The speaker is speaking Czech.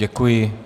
Děkuji.